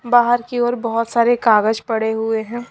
बाहर की ओर बहुत सारे कागज पड़े हुए हैं।